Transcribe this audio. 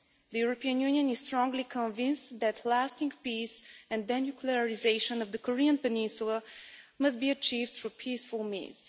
The European Union is strongly convinced that lasting peace and denuclearisation of the Korean peninsula must be achieved through peaceful means.